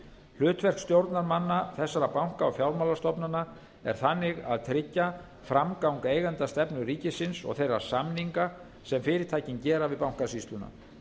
hlutverk stjórnarmanna þessara banka og fjármálastofnana er þannig að tryggja framgang eigendastefnu ríkisins og þeirra samninga sem fyrirtækin gera við bankasýsluna